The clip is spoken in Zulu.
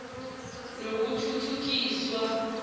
nokuthuthukiswa